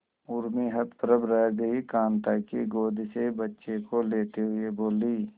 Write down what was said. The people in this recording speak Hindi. उर्मी हतप्रभ रह गई कांता की गोद से बच्चे को लेते हुए बोली